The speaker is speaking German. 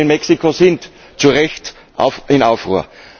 Die Menschen in Mexiko sind zu Recht in Aufruhr.